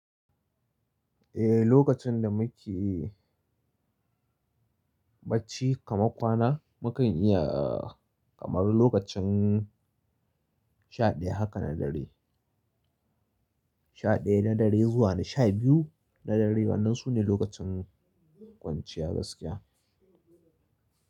Eh, lokacin da muke bacci kamar kwana, muka iya kamar lokacin sha ɗaya haka na dare, sha ɗaya na dare zuwa sha biyu na dare. Wadannan su ne lokacin kwanciya gaskiya.